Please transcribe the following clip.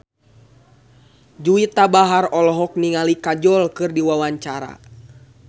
Juwita Bahar olohok ningali Kajol keur diwawancara